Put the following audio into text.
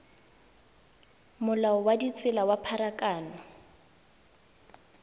molao wa ditsela wa pharakano